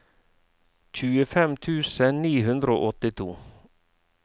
tjuefem tusen ni hundre og åttito